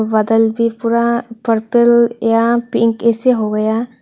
बादल भी पूरा पर्पल या पिंक ये से हो गया।